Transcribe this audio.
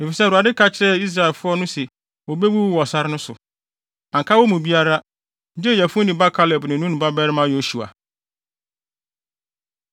Efisɛ Awurade ka kyerɛɛ saa Israelfo no se wobewuwu wɔ sare no so. Anka wɔn mu biara, gye Yefune ba Kaleb ne Nun babarima Yosua.